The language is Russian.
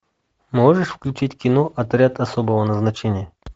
можешь включить кино отряд особого назначения